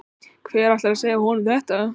Hver ætlar að segja honum þetta?